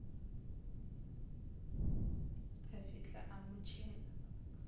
a fihla a mo tšhela